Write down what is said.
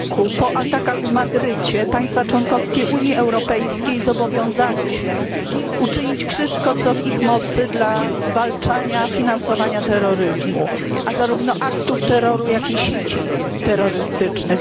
r. po atakach w Madrycie państwa członkowskie Unii Europejskiej zobowiązały się uczynić wszystko co w ich mocy dla zwalczania finansowania terroryzmu, zarówno aktów terroru, jak i sieci terrorystycznych.